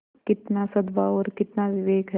कितना सदभाव और कितना विवेक है